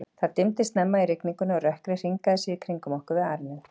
Það dimmdi snemma í rigningunni, og rökkrið hringaði sig í kringum okkur við arininn.